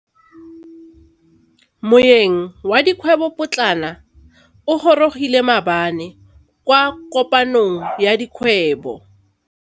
Moêng wa dikgwêbô pôtlana o gorogile maabane kwa kopanong ya dikgwêbô.